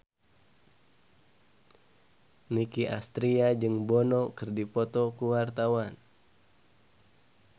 Nicky Astria jeung Bono keur dipoto ku wartawan